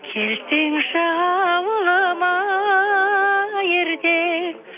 келсеңші ауылыма ерте